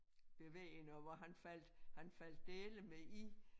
Bevægende og hvor han faldt han faldt dæleme i